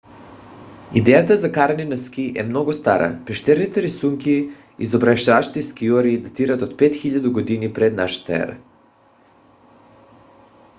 идеята за каране на ски е много стара – пещерните рисунки изобразяващи скиори датират от 5000 г. пр.н.е.!